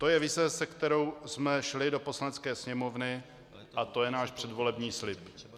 To je vize, se kterou jsme šli do Poslanecké sněmovny, a to je náš předvolební slib.